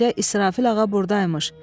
Bu gecə İsrafil ağa buradaymış.